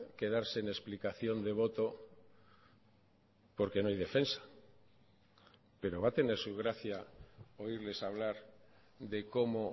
quedarse en explicación de voto porque no hay defensa pero va a tener su gracia oírles hablar de cómo